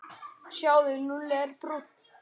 Sjáðu, Lúlli er brúnn.